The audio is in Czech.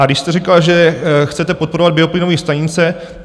A když jste říkal, že chcete podporovat bioplynové stanice.